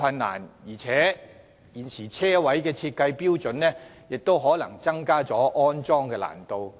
再者，現時的車位設計標準亦可能增加了安裝的難度。